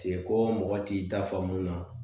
Seko mɔgɔ t'i da faamu na